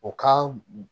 O ka